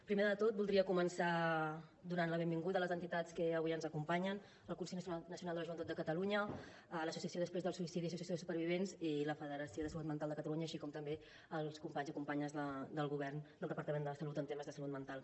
primer de tot voldria començar donant la benvinguda a les entitats que avui ens acompanyen el consell nacional de la joventut de catalunya l’associació després del suïcidi associació de supervivents i la federació salut mental catalunya així com també els companys i companyes del govern del departament de salut en temes de salut mental